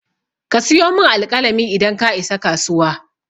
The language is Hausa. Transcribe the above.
Ka siyo min alƙalami idan ka isa kasuwa.